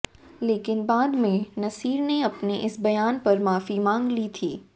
लेकिन बाद में नसीर ने अपने इस बयान पर माफ़ी मांग ली थी